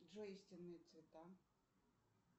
джой истинные цвета